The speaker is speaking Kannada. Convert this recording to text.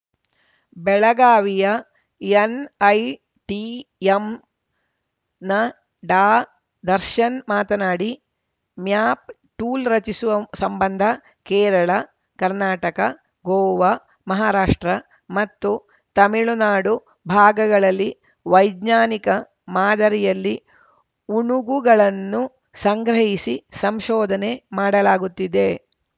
ಬೆಳಗಾವಿಯ ಎನ್‌ಐಟಿಎಂನ ಡಾದರ್ಶನ್‌ ಮಾತನಾಡಿ ಮ್ಯಾಪ್‌ ಟೂಲ್‌ ರಚಿಸುವ ಸಂಬಂಧ ಕೇರಳ ಕರ್ನಾಟಕ ಗೋವಾ ಮಹಾರಾಷ್ಟ್ರ ಮತ್ತು ತಮಿಳುನಾಡು ಭಾಗಗಳಲ್ಲಿ ವೈಜ್ಞಾನಿಕ ಮಾದರಿಯಲ್ಲಿ ಉಣುಗುಗಳನ್ನು ಸಂಗ್ರಹಿಸಿ ಸಂಶೋಧನೆ ಮಾಡಲಾಗುತ್ತಿದೆ